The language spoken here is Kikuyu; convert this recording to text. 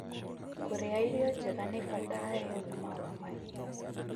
Kũrĩa irio njega nĩ kwa bata harĩ ũgima wa mahiũ.